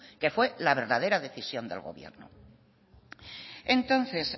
que fue la verdadera decisión del gobierno entonces